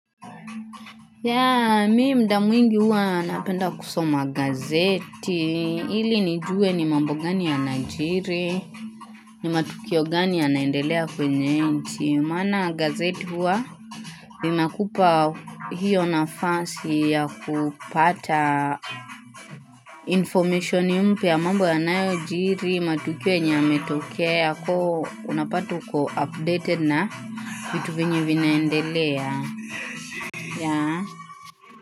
Ya, mii mda mwingi huwa napenda kusoma gazeti, ili nijue ni mambu gani yanajiri, ni matukio gani ya naendelea kwenye nchi. Maana gazeti huwa, linakupa hiyo na fansi ya kupata informationi mpya mambo ya lnayo jiri, matukio yenye yametokea, unapatu uko updated na vitu vinyi vinaendelea.